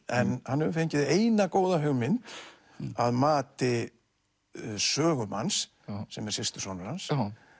en hann hefur fengið eina góða hugmynd að mati sögumanns sem er systursonur hans